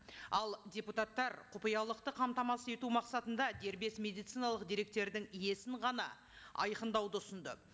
ал депутаттар құпиялықты қамтамасыз ету мақсатында дербес медициналық деректердің иесін ғана айқындауды ұсынды